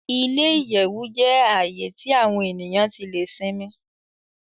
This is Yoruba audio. Ile-iyẹwu jẹ ààyè tí awọn eniyan tí le sinmi